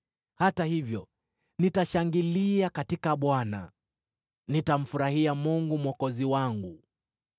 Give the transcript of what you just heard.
hata hivyo nitashangilia katika Bwana , nitamfurahia Mungu Mwokozi wangu.